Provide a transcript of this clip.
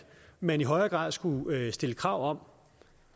man i højere grad skulle stille krav om